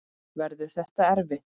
Verður þetta erfitt?